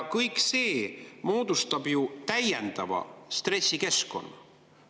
Kõik see moodustab ju täiendava stressi keskkonna.